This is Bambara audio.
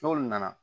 N'olu nana